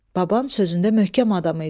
Baban sözündə möhkəm adam idi.